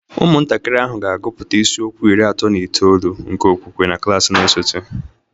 Ụmụntakịrị ahụ ga-agụpụta isiokwu iri atọ na itoolu nke okpukpe na klas na-esote